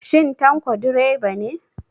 Shin Tanko direba ne?